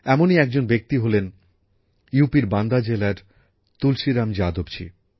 এমনই একজন ব্যক্তি হলেন উত্তর প্রদেশের বান্দা জেলার তুলসীরাম যাদবজী